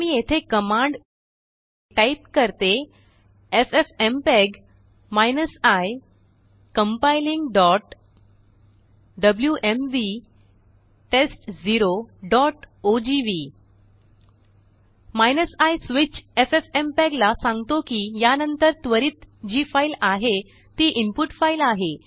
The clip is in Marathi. आता मी येथेकमांड टाइप करतेffmpeg i compilingडब्ल्यूएमव्ही test0ओजीव्ही i स्विच एफएफएमपीईजी ला सांगतो कि यानंतर त्वरित जीफाइल आहे तीइनपुट फाइल आहे